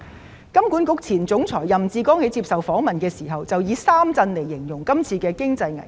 香港金融管理局前總裁任志剛在接受訪問時，以三震來形容今次經濟危機。